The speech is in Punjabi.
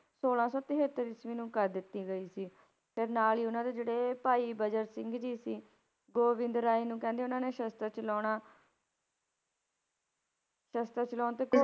ਛੋਲਾਂ ਸੌ ਤਹੇਤਰ ਈਸਵੀ ਨੂੰ ਕਰ ਦਿੱਤੀ ਗਈ ਸੀ, ਫਿਰ ਨਾਲ ਹੀ ਉਹਨਾਂ ਦੇ ਜਿਹੜੇ ਭਾਈ ਬਜਰ ਸਿੰਘ ਜੀ ਸੀ, ਗੋਬਿੰਦ ਰਾਏ ਨੂੰ ਕਹਿੰਦੇ ਉਹਨਾਂ ਨੇ ਸਸਤ੍ਰ ਚਲਾਉਣਾ ਸਸਤ੍ਰ ਚਲਾਉਣ ਤੇ